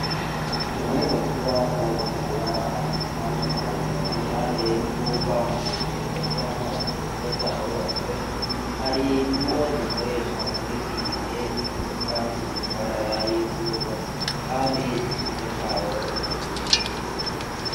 Umuyaga nkuba bawukura ahantu hatandukanye . Iruhande y'uwuva mu ngomero z'amazi ziba zarubatswe, hari uwo dukoresha muri iki gihe uturuka ku mishwarara y'izuba Kandi iciza cawo urazimbutse.